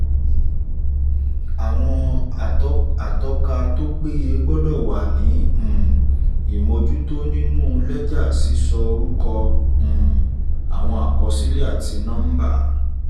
atọ́ka tó péye gbọ́dọ̀ wà ní um ìmójútó nínú lẹ́jà sísọ orúkọ um àwọn àkọsílẹ̀ àti nọ́ḿbà.